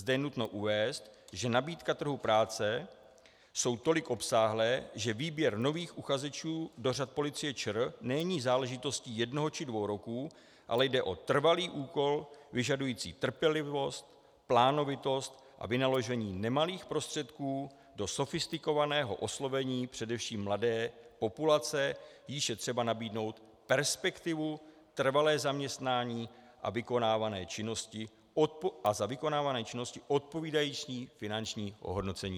Zde je nutno uvést, že nabídka trhu práce jsou tolik obsáhlá, že výběr nových uchazečů do řad Policie ČR není záležitostí jednoho či dvou roků, ale jde o trvalý úkol vyžadující trpělivost, plánovitost a vynaložení nemalých prostředků do sofistikovaného oslovení především mladé populace, jíž je třeba nabídnout perspektivu, trvalé zaměstnání a za vykonávané činnosti odpovídající finanční ohodnocení.